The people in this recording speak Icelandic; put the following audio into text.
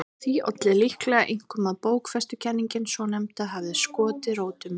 Því olli líklega einkum að bókfestukenningin svonefnda hafði skotið rótum.